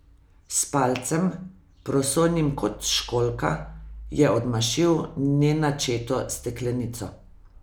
S palcem, prosojnim kot školjka, je odmašil nenačeto steklenico.